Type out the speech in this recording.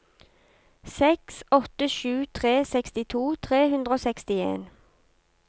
seks åtte sju tre sekstito tre hundre og sekstien